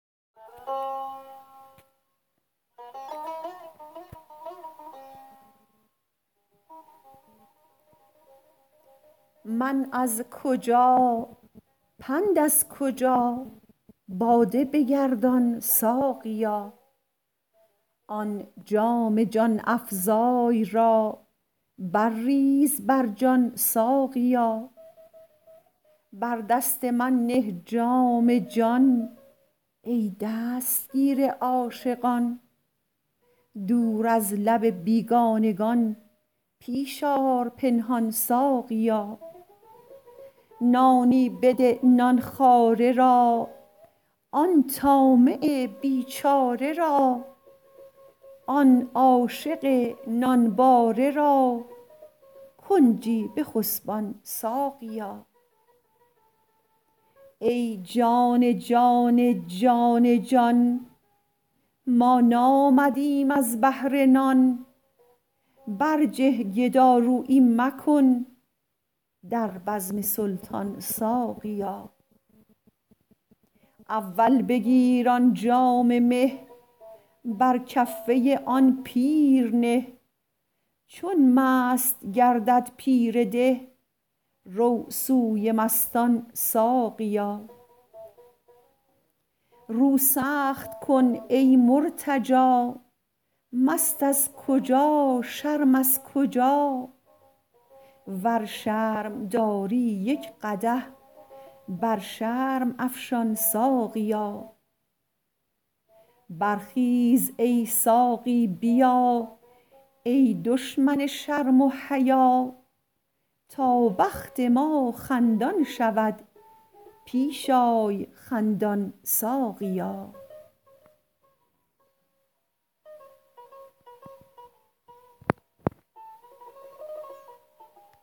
من از کجا پند از کجا باده بگردان ساقیا آن جام جان افزای را برریز بر جان ساقیا بر دست من نه جام جان ای دستگیر عاشقان دور از لب بیگانگان پیش آر پنهان ساقیا نانی بده نان خواره را آن طامع بیچاره را آن عاشق نانباره را کنجی بخسبان ساقیا ای جان جان جان جان ما نامدیم از بهر نان برجه گدارویی مکن در بزم سلطان ساقیا اول بگیر آن جام مه بر کفه آن پیر نه چون مست گردد پیر ده رو سوی مستان ساقیا رو سخت کن ای مرتجا مست از کجا شرم از کجا ور شرم داری یک قدح بر شرم افشان ساقیا برخیز ای ساقی بیا ای دشمن شرم و حیا تا بخت ما خندان شود پیش آی خندان ساقیا